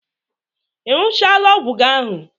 I ṅụchaala ọgwụ gị ahụ?